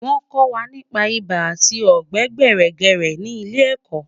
Wọ́n kọ́ wa nípa ibà àti ọ̀gbẹ̀ẹ̀gbẹ̀rẹ̀kẹ̀rẹ̀ ní ilé ẹ̀kọ́